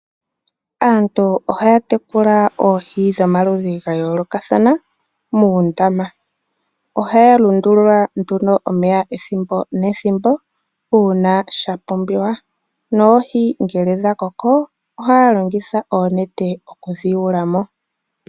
Aantu ohaya tekula oohi dhomaludhi gayoolokathana muundama. Ohaya lundulula nduno omeya ethimbo nethimbo, uuna sha pumbiwa. Noohi ngele dhakoko ohaya longitha oonete okudhi yuulamo.